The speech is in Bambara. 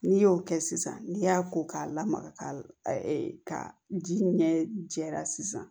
N'i y'o kɛ sisan n'i y'a ko k'a lamaga ka ji ɲɛ jɛra sisan